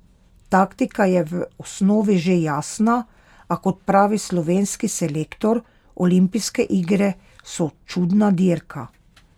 Taktika je v osnovi že jasna, a kot pravi slovenski selektor: "Olimpijske igre so čudna dirka.